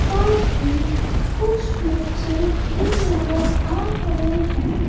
साथ ही कुछ बच्चे भी नजर आ रहे हैं।